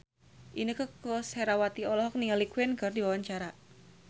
Inneke Koesherawati olohok ningali Queen keur diwawancara